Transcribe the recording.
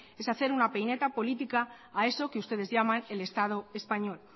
es hacer una peineta política a eso que ustedes llaman el estado español